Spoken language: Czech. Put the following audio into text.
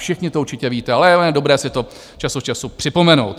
Všichni to určitě víte, ale je dobré si to čas od času připomenout.